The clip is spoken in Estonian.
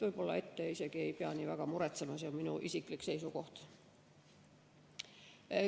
Võib-olla ette isegi ei pea nii väga muretsema, see on minu isiklik seisukoht.